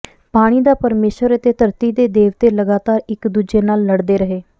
ਪਾਣੀ ਦਾ ਪਰਮੇਸ਼ੁਰ ਅਤੇ ਧਰਤੀ ਦੇ ਦੇਵਤੇ ਲਗਾਤਾਰ ਇੱਕ ਦੂਜੇ ਨਾਲ ਲੜਦੇ ਰਹੇ